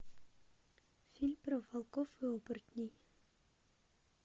фильм про волков и оборотней